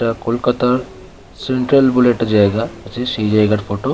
এটা কলকাতা সেন্ট্রাল বলে একটা জায়গা এটা সেই জায়গার ফটো ।